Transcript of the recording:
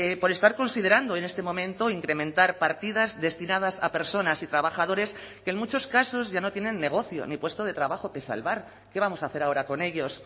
por estar considerando en este momento incrementar partidas destinadas a personas y trabajadores que en muchos casos ya no tienen negocio ni puesto de trabajo que salvar qué vamos a hacer ahora con ellos